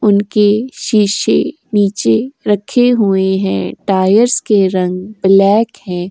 उनके शीशे नीचे रखे हुए हैं। टायरस के रंग ब्लैक हैं।